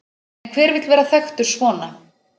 En hver vill vera þekktur svona?